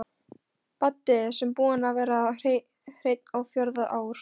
Baddi sem búinn var að vera hreinn á fjórða ár.